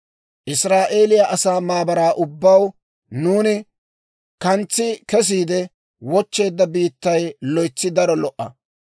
Israa'eeliyaa asaa maabaraa ubbaw, «Nuuni kantsi kesiide wochcheedda biittay loytsi daro lo"a.